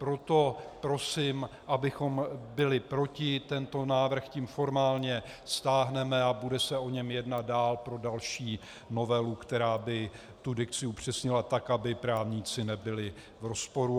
Proto prosím, abychom byli proti, tento návrh tím formálně stáhneme a bude se o něm jednat dál pro další novelu, která by tu dikci upřesnila tak, aby právníci nebyli v rozporu.